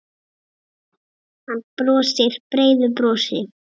Hann brosir breiðu brosi.